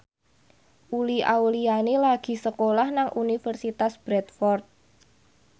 Uli Auliani lagi sekolah nang Universitas Bradford